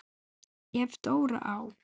Ef Dóri á